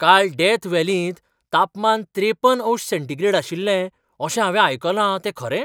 काल डेथ व्हॅलींत तापमान त्रेपन अंश सेंटीग्रेड आशिल्लें अशें हांवें आयकलां तें खरें?